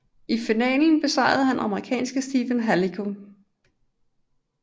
I finalen besejrede han amerikanske Stephen Halaiko